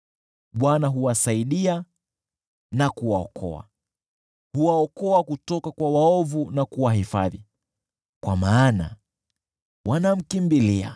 Bwana huwasaidia na kuwaokoa, huwaokoa kutoka kwa waovu na kuwahifadhi, kwa maana wanamkimbilia.